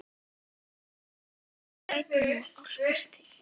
HÓTELHALDARI: Ef hann gæti nú álpast til.